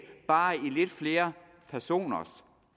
bare i lidt flere personers